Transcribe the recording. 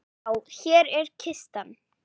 Sjá, hér er kistan.